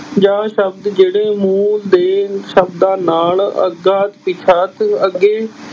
ਜਾਂ ਸ਼ਬਦ ਜਿਹੜੇ ਮੂਲ ਦੇ ਸ਼ਬਦਾਂ ਨਾਲ ਅਗਾ ਪਿਛਾਤ ਅੱਗੇ